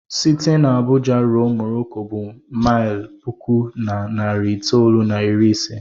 Site n'Abuja ruo Morocco bụ maịlụ puku na narị itoolu na iri ise